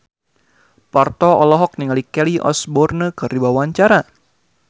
Parto olohok ningali Kelly Osbourne keur diwawancara